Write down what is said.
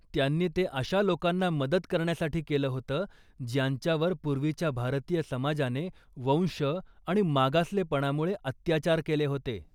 त्यांनी ते अशा लोकांना मदत करण्यासाठी केलं होतं ज्यांच्यावर पूर्वीच्या भारतीय समाजाने वंश आणि मागासलेपणामुळे अत्याचार केले होते.